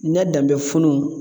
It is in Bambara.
Nɛ danbɛ funun